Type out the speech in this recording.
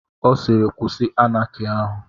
Ọ siiri kwụsị Anaki ahụ.